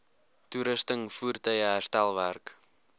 toerusting voertuie herstelwerk